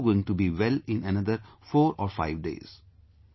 They are also going to be well in another 45 days